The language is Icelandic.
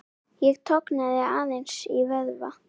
Ég tognaði aðeins í vöðva.